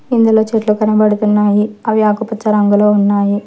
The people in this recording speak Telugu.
ఇందులో చేతిలో కనబడుతున్నాయి అవి ఆకుపచ్చ రంగులో ఉన్నాయి.